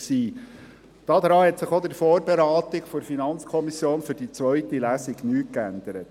Daran hat sich auch in der Vorberatung der zweiten Lesung durch die FiKo nichts geändert